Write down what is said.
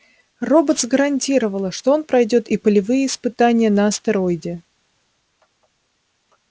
роботс гарантировала что он пройдёт и полевые испытания на астероиде